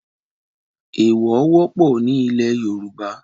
Ẹ̀ẹ̀wọ̀ wọ́pọ̀ ní ilẹ̀ Yorùbá